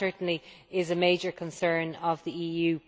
That certainly is a major concern of the EU.